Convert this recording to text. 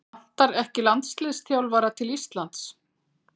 Vantar ekki landsliðsþjálfara til Íslands?